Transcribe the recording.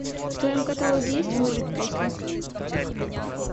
в твоем каталоге есть выжить после